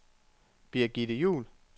Birgitte Juul